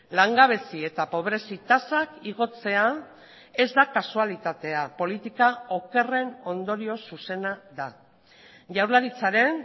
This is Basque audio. langabezi eta pobrezi tasak igotzea ez da kasualitatea politika okerren ondorio zuzena da jaurlaritzaren